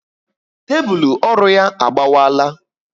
Tébulu ọrụ ya agbawala